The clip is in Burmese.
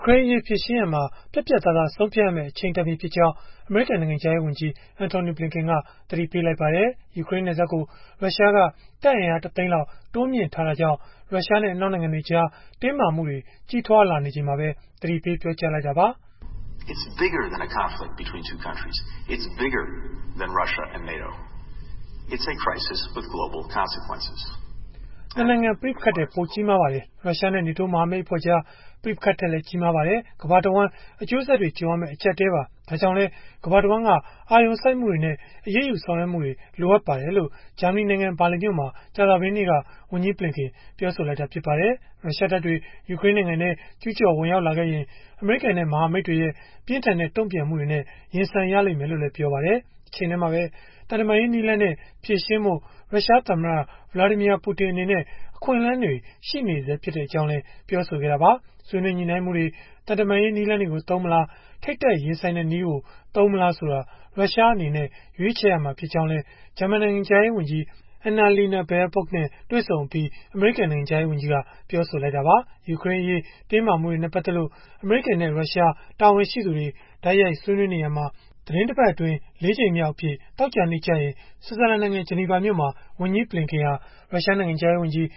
ကရိန်းအရေး ဖြေရှင်းရာမှာ ပြတ်ပြတ်သားသား ဆုံးဖြတ်ရမယ့် အချိန်တန်ပြီဖြစ်ကြောင်း အမေရိကန် နိုင်ငံခြားရေးဝန်ကြီး Antony Blinken က သတိပေးလိုက်ပါတယ်။ ယူကရိန်းနယ်စပ်ကို ရုရှားက တပ်အင်အား ၁ သိန်းလောက် တိုးမြှင့်ထားတာကြောင့် ရုရှားနဲ့ အနောက်နိုင်ငံတွေကြား တင်းမာမှုတွေ ကြီးထွားလာနေချိန်မှာပဲ သတိပေးပြောကြားလိုက်တာပါ။ “၂ နိုင်ငံ ပဋိပက္ခထက် ပိုကြီးမားပါတယ်။ ရုရှားနဲ့ နေတိုးမဟာမိတ်အဖွဲ့ကြား ပဋိပက္ခထက်လည်း ကြီးမားပါတယ်။ ကမ္ဘာတဝှမ်း အကျိုးဆက်တွေကြုံရမယ့် အကျပ်အတည်းပါ။ ဒါကြောင့်လည်း ကမ္ဘာတဝှမ်းက အာရုံစိုက်မှုတွေနဲ့ အရေးယူဆောင်ရွက်မှုတွေ လိုအပ်ပါတယ်။” လို့ ဂျာမနီနိုင်ငံ ဘာလင်မြို့မှာ ကြာသပတေးနေ့က ဝန်ကြီးဘလင်ကန် ပြောဆိုလိုက်တာ ဖြစ်ပါတယ်။ ရုရှားတပ်တွေ ယူကရိန်းနိုင်ငံထဲ ကျုးကျော်ဝင်ရောက်လာခဲ့ရင် အမေရိကန်နဲ့ မဟာမိတ်တွေရဲ့ ပြင်းထန်တဲ့ တုံ့ပြန်မှုတွေနဲ့ ရင်ဆိုင်ရလိမ့်မယ်လို့လည်း ပြောပါတယ်။ တချိန်တည်းမှာပဲ သံတမန်ရေးနည်းလမ်းနဲ့ ဖြေရှင်းဖို့ ရုရှားသမ္မတ Vladimir Putin အနေနဲ့ အခွင့်အလန်းတွေ ရှိနေဆဲဖြစ်ကြောင်းလည်း ပြောဆိုခဲ့တာပါ။ ဆွေးနွေးညှိနှိုင်းမှုတွေ၊ သံတမန်ရေး နည်းလမ်းတွေကို သုံးမလား၊ ထိပ်တိုက်ရင်ဆိုင်တဲ့နည်းကို သုံးမလားဆိုတာ ရုရှားအနေနဲ့ ရွေးချယ်ရမှာ ဖြစ်ကြောင်းလည်း ဂျာမန်နိုင်ငံခြားရေးဝန်ကြီး Annalena Baerbock နဲ့ တွေ့ဆုံအပြီး အမေရိကန်နိုင်ငံခြားရေးဝန်ကြီးက ပြောဆိုခဲ့တာပါ။ ယူကရိန်းအရေး တင်းမာမှုတွေနဲ့ ပတ်သက်လို့ အမေရိကန်နဲ့ ရုရှားတာဝန်ရှိသူတွေ တိုက်ရိုက်ဆွေးနွေးနေရာမှာ သီတင်းတပတ်အတွင်း ၄ ကြိမ်မြောက်အဖြစ် သောကြာနေ့ကျရင် ဆွစ်ဇာလန်နိုင်ငံ ဂျနီဗာမြို့မှာ ဝန်ကြီးဘလင်ကန်ဟာ ရုရှားနိုင်ငံခြားရေးဝန်ကြီး